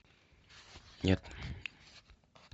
нет